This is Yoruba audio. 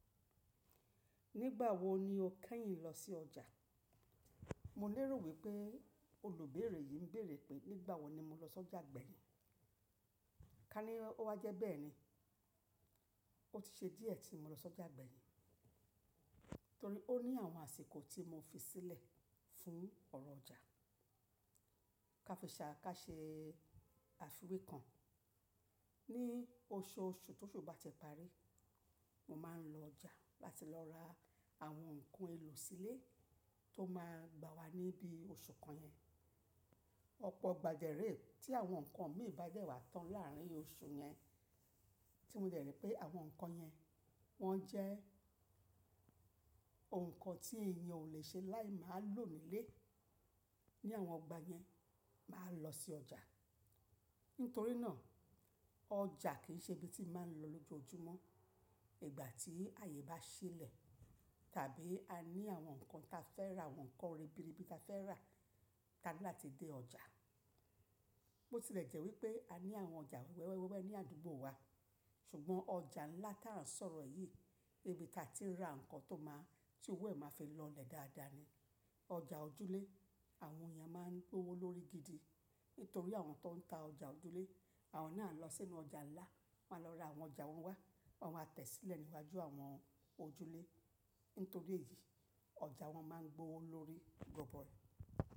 Nígbà wo ni o kẹ́yìn lọ sí ọjà? Mo lérò wípé olùbéèrè yìí ń béèrè pé nígbà wo ni mo lọ sọ́jà gbẹ̀yìn. Ká ní ó wá jẹ́ bẹ́ẹ̀ ni, ó ti ṣe díẹ̀ tí mo lọ sọ́jà gbẹ̀yìn, torí ó ní àwọn àsìkò tí mo fi sílẹ̀ fún ọ̀rọ̀ ọjà. Ka fi ṣà, ká ṣe àfiwé kan. Ni oṣooṣù tó ṣu bàti parí, mo máa ń lọ ọjà láti lọ ra àwọn ǹkan èlò sílé tó máa gbà wa níbí oṣù kan yẹn. Ọ̀pọ̀ igbà dẹ́ re tí àwọn ǹkan mi bà dẹ́ wà tán láàrin oṣù yẹn, tí mo dẹ̀ ri pé àwọn ǹkan yẹn wọ́n jẹ́ ǹkan tí èèyàn ò le ṣe láì máa lò nílé, ní àwọn igbà yẹn máa lọ sí ọjà. Nítorí náà, ọjà kì í ṣe ibi tí màá ń lọ lójoojúmọ́. Ìgbà tí ààyè bá sílẹ̀ tàbí a ní àwọn ǹkan ta fẹ́ rà, àwọn ǹkan ribiribi ta fẹ́ rà, tá ní láti dé ọjà. Bo tilẹ̀ jẹ́ wípé a ní àwọn ọjà wẹ́wẹ́wẹ́wẹ́wẹ́ ní àdúgbò wa, ṣùgbọ́n ọjà ńlá tá rà ń sọ̀rọ̀ yìí ni ibi ta ti ń ra ǹkan tó máa, tí òwe máa fi lọ lè dáadáa ni. Ọjà òjúlé, àwọn èèyàn máa ń gbówó lórí gidi nítorí àwọn tó ń ta ọjà òjúlé, àwọn náà lọ sínú ọjà ńlá máa lọ ra àwọn ọjà wọn wá, wọ́n máa tẹ̀ ẹ́ sílẹ̀ níwájú àwọn ojúlé. Nítorí èyí, ọjà wọn máa ń gbówó lórí gọbọi.